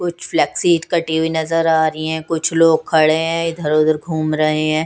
कुछ कटी हुई नजर आ रही है कुछ लोग खड़े हैं इधर उधर घूम रहे हैं।